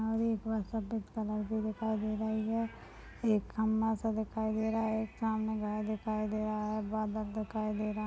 सफेद कलर की दिखाई दे रही है एक खंबा सा दिखाई दे रहा है एक सामने घर दिखाई दे रहा है बादल दिखाई दे रहा --